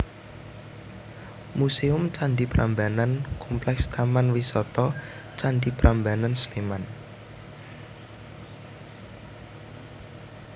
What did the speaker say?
Muséum Candhi Prambanan Kompleks Taman Wisata Candi Prambanan Sleman